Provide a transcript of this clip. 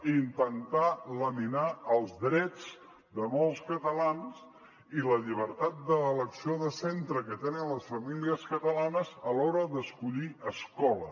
i intentar laminar els drets de molts catalans i la llibertat d’elecció de centre que tenen les famílies catalanes a l’hora d’escollir escola